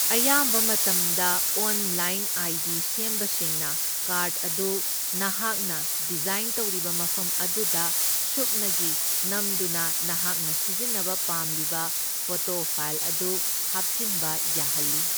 ꯑꯌꯥꯝꯕ ꯃꯇꯝꯗ online ID ꯁꯦꯝꯕꯁꯤꯡꯅ ꯀꯥꯔꯗ ꯑꯗꯨ ꯅꯍꯥꯛꯅ ꯗꯤꯖꯥꯏꯟ ꯇꯧꯔꯤꯕ ꯃꯐꯝ ꯑꯗꯨꯗ ꯁꯨꯞꯅꯒꯤ ꯅꯝꯗꯨꯅ ꯅꯍꯥꯛꯅ ꯁꯤꯖꯤꯟꯅꯕ ꯄꯥꯝꯂꯤꯕ ꯐꯣꯇꯣ ꯐꯥꯏꯜ ꯑꯗꯨ ꯍꯥꯞꯆꯤꯟꯕ ꯌꯥꯍꯜꯂꯤ꯫